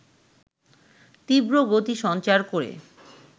তীব্র গতি সঞ্চার করে